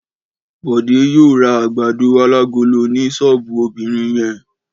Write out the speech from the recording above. Bọ̀dé yóò ra àgbàdo alágolo ní ṣọ́ọ́bù obìnrin yẹn.